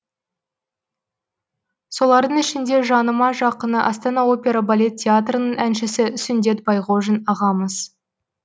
солардың ішінде жаныма жақыны астана опера балет театрының әншісі сүндет байғожин ағамыз